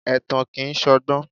Ẹ̀tàn kìí ṣọgbọ́n.